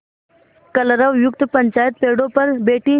कलरवयुक्त पंचायत पेड़ों पर बैठी